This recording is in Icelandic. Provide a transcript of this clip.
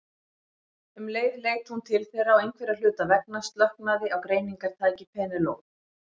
Um leið leit hún til þeirra og einhverra hluta vegna slöknaði á greiningartæki Penélope.